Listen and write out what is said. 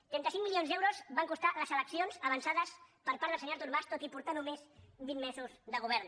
trenta cinc milions d’euros van costar les eleccions avançades per part del senyor artur mas tot i portar només vint mesos de govern